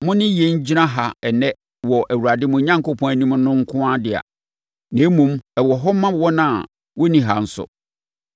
mo ne yɛn gyina ha ɛnnɛ wɔ Awurade mo Onyankopɔn anim no nko dea. Na mmom ɛwɔ hɔ ma wɔn a wɔnni ha nso.